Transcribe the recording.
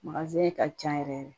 ka ca yɛrɛ